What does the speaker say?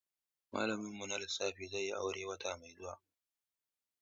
Malamin mu na Lissafi zai yi aure wata mai zuwa.